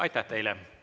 Aitäh teile!